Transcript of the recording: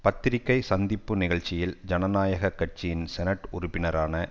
பத்திரிக்கை சந்திப்பு நிகழ்ச்சியில் ஜனநாயக கட்சியின் செனட் உறுப்பினரான